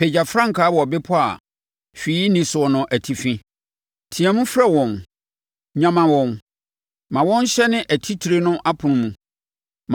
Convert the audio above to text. Pagya frankaa wɔ bepɔ a hwee nni soɔ no atifi, teaam frɛ wɔn: nyama wɔn ma wɔn nhyɛne atitire no apono mu.